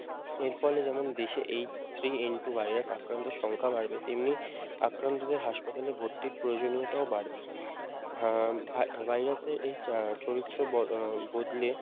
এর ফলে যেমন দেশে H -three N -two virus আক্রান্তের সংখ্যা বাড়বে তেমনি আক্রান্তদের হাসপাতালে ভর্তির প্রয়োজনিয়তা ও বাড়বে উম আহ ভাই ভাইরাস এই চা চরিত্র ব আহ বদলে